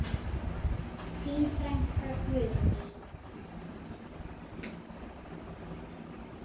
Þín frænka Guðný.